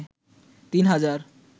৩ হাজার